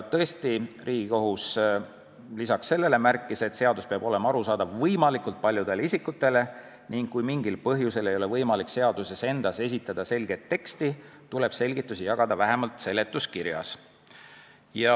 Tõesti, Riigikohus lisaks sellele märkis, et seadus peab olema arusaadav võimalikult paljudele isikutele ning kui mingil põhjusel ei ole võimalik seaduses endas esitada selget teksti, tuleb selgitusi jagada vähemalt seletuskirjas.